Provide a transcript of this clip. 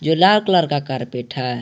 ये लाल कलर का कारपेट है।